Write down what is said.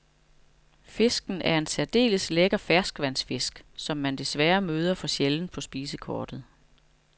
Fisken er en særdeles lækker ferskvandsfisk, som man desværre møder for sjældent på spisekortet.